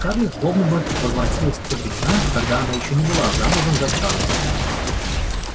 скарлетт словно бы возвратилась в те времена когда она ещё не была замужем за чарлзом